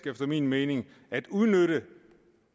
efter min mening ganske at udnytte